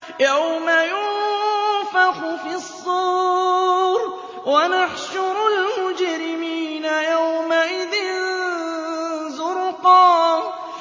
يَوْمَ يُنفَخُ فِي الصُّورِ ۚ وَنَحْشُرُ الْمُجْرِمِينَ يَوْمَئِذٍ زُرْقًا